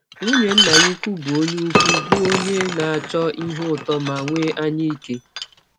Nwụnye nna ya ụkwụ bụ ọnye ụkwụ bụ ọnye na - achọ ihe ụtọ ma nwee anyaike.